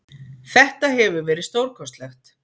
Þetta hefur verið stórkostlegt.